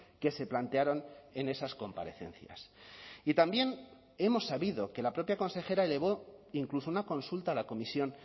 que se plantearon en esas comparecencias y también hemos sabido que la propia consejera elevó incluso una consulta a la comisión